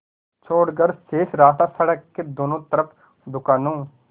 छोड़कर शेष रास्ता सड़क के दोनों तरफ़ दुकानों